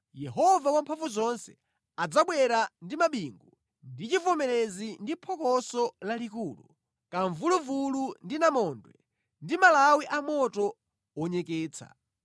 Yehova Wamphamvuzonse adzabwera ndi mabingu ndi chivomerezi ndi phokoso lalikulu, kamvuluvulu ndi namondwe ndi malawi a moto wonyeketsa.